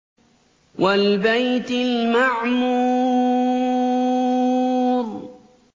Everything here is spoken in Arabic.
وَالْبَيْتِ الْمَعْمُورِ